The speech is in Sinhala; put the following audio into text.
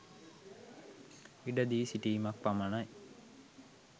ඉඩ දී සිටීමක් පමණයි.